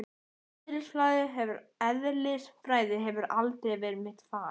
Eðlisfræði hefur aldrei verið mitt fag.